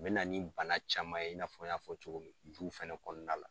A bɛ na nin bana caman ye i n'a fɔ n y'a fɔ cogo min na duw fɛnɛ kɔnɔna la.